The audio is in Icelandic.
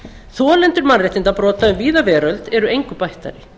þolendur mannréttindabrota um víða veröld eru engu bættari